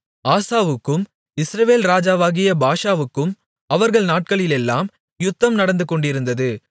ஆசாவுக்கும் இஸ்ரவேல் ராஜாவாகிய பாஷாவுக்கும் அவர்கள் நாட்களிலெல்லாம் யுத்தம் நடந்துகொண்டிருந்தது